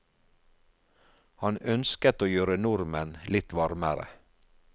Han ønsket å gjøre nordmenn litt varmere.